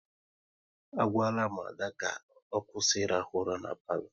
A gwala m Ada ka ọ kwụsị ị rahụ ura n'palo